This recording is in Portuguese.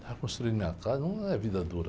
Estar construindo minha casa não é vida dura.